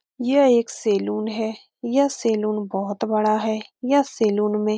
यह एक सैलून है यह सैलून बहुत बड़ा है यह सैलून मे --